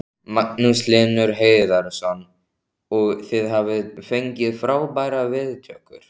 Magnús Hlynur Hreiðarsson: Og þið hafið fengið frábærar viðtökur?